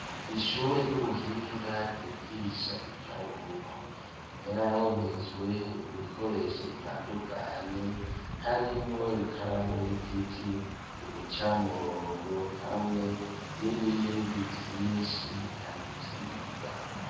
Ishure ry'ubuhinga ryigisha ibiharuro, ryaronkejwe ibikoresho bitandukanye, harimwo ikaramu y'igiti, uducamurongo, hamwe n'ibindi vyinshi kandi vyiza.